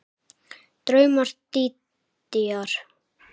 Draumur Dídíar